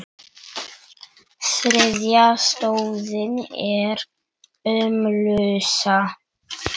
Þriðja stoðin er ölmusa.